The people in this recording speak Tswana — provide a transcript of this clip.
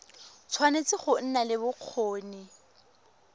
tshwanetse go nna le bokgoni